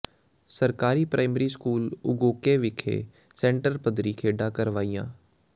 ਸਰਕਾਰੀ primary school Ugoke ਵਿਖੇ centre ਪੱਧਰੀ ਖੇਡਾਂ ਕਰਵਾਈਆਂ